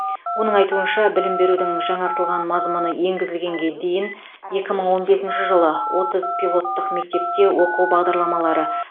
оның айтуынша білім берудің жаңартылған мазмұны енгізілгенге дейін екі мың он бесінші жылы отыз пилоттық мектепте оқу бағдарламалары